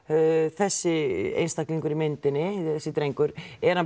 þessi einstaklingur í myndinni þessi drengur